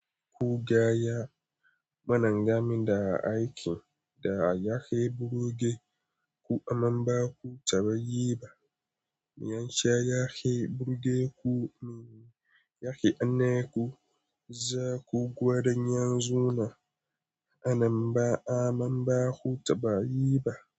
Ku gaya mana game da aikin da ya yafi burge ku amman ba ku taɓa yi ba. Me ya sa ya yafi burge ku? Me yake hanna ku? Za ku gwada yanzu ma a nan ba amma ba ku taɓa yi ba.